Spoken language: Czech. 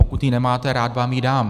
Pokud ji nemáte, rád vám ji dám.